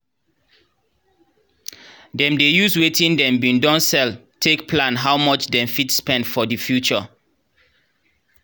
dem dey use wetin dem bin don sell take plan how much dem fit spend for the future.